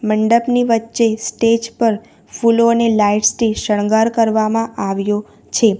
મંડપની વચ્ચે સ્ટેજ પર ફૂલો અને લાઈટ્સ થી શણગાર કરવામાં આવ્યો છે.